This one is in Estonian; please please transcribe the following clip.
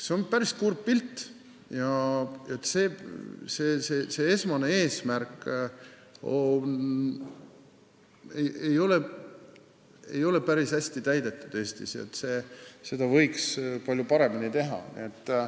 See on päris kurb pilt: esmane eesmärk ei ole Eestis päris hästi täidetud, seda võiks palju paremini teha.